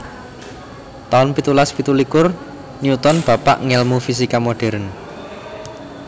taun pitulas pitu likur Newton bapak ngèlmu fisika modern